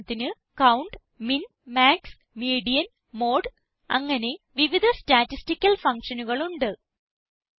ഉദാഹരണത്തിന് count min max median mode അങ്ങനെ വിവിധ സ്റ്റാറ്റിസ്റ്റിക്കൽ fuctionകൾ ഉണ്ട്